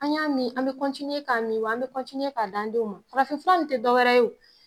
An y'a min an bɛ k'a min wa an bɛ ka da denw ma, faarafin fura nin tɛ dɔwɛrɛ yew.